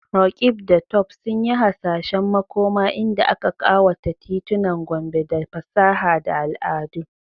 Roqeeb da Tope sun yi hasashen makoma inda aka kawata titunan Gombe da fasaha da al'adu.